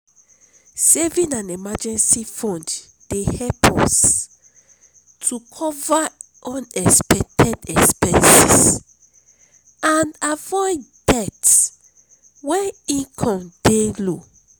saving an emergency fund dey help us to cover unexpected expenses and avoid debt when income dey low.